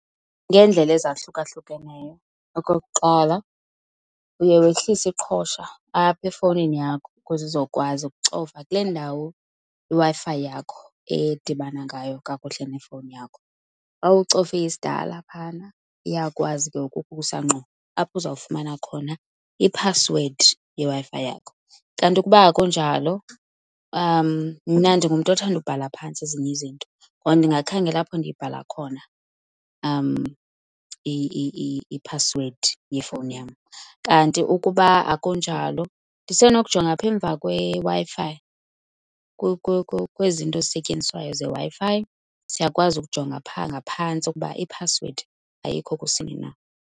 Ngeendlela ezahlukahlukeneyo. Okokuqala, uye wehlise iqhosha apha efowunini yakho ukuze uzokwazi okucofa kule ndawo iWiFi yakho edibana ngayo kakuhle nefowuni yakho. Xa ucofe isidala phana iyakwazi ke ngoku ukusa ngqo apho uzawufumana khona iphasiwedi yeWi-Fi yakho. Kanti ukuba akunjalo, mna ndingumntu othanda ubhala phantsi ezinye izinto, ngoko ndingakhangela apho ndiyibhatala khona iphasiwedi yefowuni yam. Kanti ukuba akunjalo ndisenokujonga apha emva kweWi-Fi, kwezi zinto zisetyenziswayo zeWi-Fi siyakwazi ukujonga phaa ngaphantsi ukuba iphasiwedi ayikho kusini na.